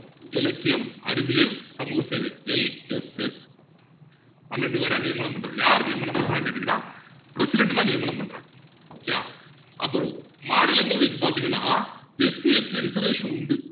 இலக்கியம் அறிவியல் சமூக சேவை LFS பன்னிரெண்டு பேர நியமனம் பண்ணுறது யார் நியமனம் பண்றாங்கன்னு கேட்டீங்கன்னா president தான் நியமனம் பண்றாரு okay யா அப்பறம் மாநிலங்களை வைத்து பாத்திங்கன்னா SCST reservation உண்டு